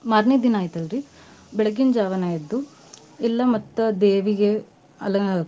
ಮಾರ್ನೆ ದಿನಾ ಐತೆಲ್ ರಿ ಬೆಳಗಿನ್ ಜವಾನ ಎದ್ದು ಎಲ್ಲಾ ಮತ್ತ್ ದೇವಿಗೆ ಅಲ~ .